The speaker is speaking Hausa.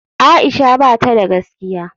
Aisha bata da gaskiya.